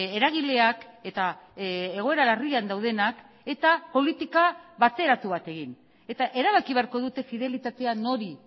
eragileak eta egoera larrian daudenak eta politika bateratu bat egin eta erabaki beharko dute fidelitatea nori